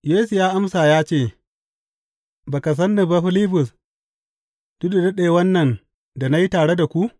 Yesu ya amsa ya ce, Ba san ni ba, Filibus, duk da daɗewan nan da na yi tare da ku?